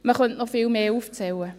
Man könnte noch viel mehr aufzählen.